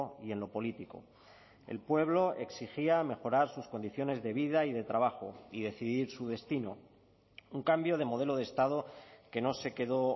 y en lo político el pueblo exigía mejorar sus condiciones de vida y de trabajo y decidir su destino un cambio de modelo de estado que no se quedó